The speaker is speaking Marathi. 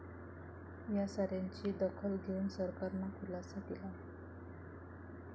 या साऱ्याची दखल घेऊन सरकारनं खुलासा केला आहे.